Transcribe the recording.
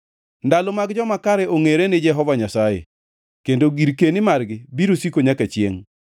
Ndalo mag joma kare ongʼere ni Jehova Nyasaye, kendo girkeni margi biro siko nyaka chiengʼ.